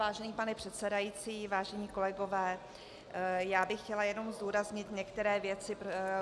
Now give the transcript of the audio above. Vážený pane předsedající, vážení kolegové, já bych chtěla jenom zdůraznit některé věci -